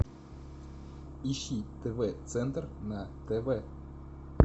ищи тв центр на тв